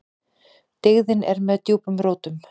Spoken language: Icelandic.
Dyggðin er með djúpum rótum.